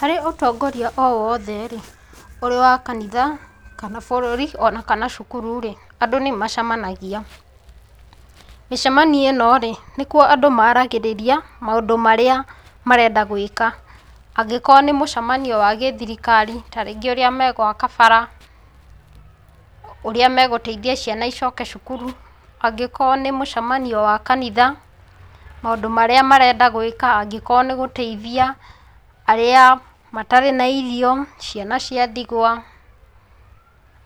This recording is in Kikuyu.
Harĩ ũtongorĩa o wothe rĩ, ũrĩ wa kanitha, kana bũrũri, o kana cukuru rĩ, andũ nĩmacemanagia. Mĩcemanio ĩ no rĩ, nĩkuo andũ moragĩrĩria maũndũ marĩa marenda gwĩka. Angĩkorwo nĩ mũcemanio wa gĩthirikari ta rĩngĩ ũrĩa megwaka bara, ũrĩa megũteithia ciana cicoke cukuru, angĩkorwo nĩ mũcemanio wa kanitha maũndũ marĩa arenda gwĩka angĩkorwo nĩgũteithia arĩa matarĩ na irio, ciana cia ndigwa,